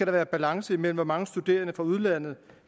være balance imellem hvor mange studerende fra udlandet